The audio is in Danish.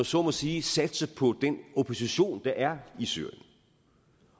så må sige satse på den opposition der er i syrien